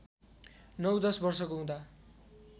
नौ दश वर्षको हुँदा